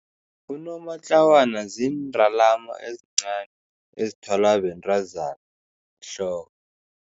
Unomatlawana ziindalama ezincani ezithwalwa bentazana ehloko.